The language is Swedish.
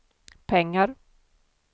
pengar